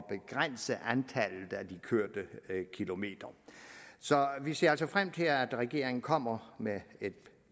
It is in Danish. begrænse antallet af de kørte kilometer så vi ser altså frem til at regeringen kommer med et